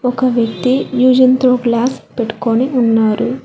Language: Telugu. ఒక వ్యక్తి విజయంతో క్లాస్ పెట్టుకొని ఉన్నారు.